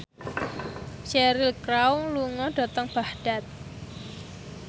Cheryl Crow lunga dhateng Baghdad